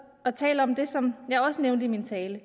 og taler om det som jeg også nævnte i min tale